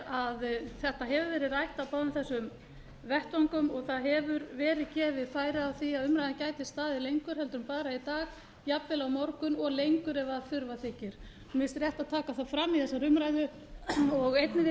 að þetta hefur verið rætt á báðum þessum vettvöngum og gefið hefur verið færi á því að umræðan gæti staðið lengur heldur en bara í dag jafnvel á morgun og lengur ef þurfa þykir mér finnst rétt að taka það fram í þessari umræðu og einnig vil